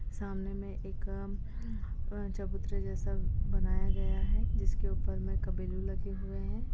सामने में एक अ चबूतरा जैसा बनाया गया है जिसके ऊपर में कबीलें लगे हुए हैं।